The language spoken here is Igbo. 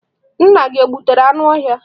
Nna gị o gbutere anụ ọhịa?